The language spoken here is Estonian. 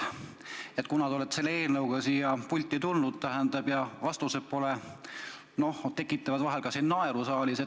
Te olete selle eelnõuga siia pulti tulnud ja vastused tekitavad vahel ka naeru saalis.